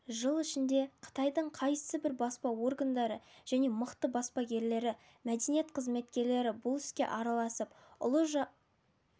жыл ішінде қытайдың қайсыбір баспа органдары және мықты баспагерлері мәдениет қызметкерлері бұл іске араласып ұлы